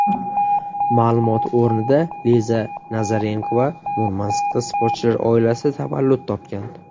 Ma’lumot o‘rnida: Liza Nazarenkova Murmanskda sportchilar oilasida tavallud topgan.